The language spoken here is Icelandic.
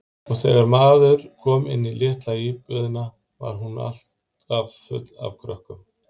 Og þegar maður kom inn í litla íbúðina var hún alltaf full af krökkum.